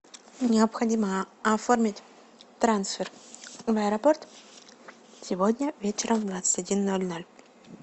необходимо оформить трансфер в аэропорт сегодня вечером в двадцать один ноль ноль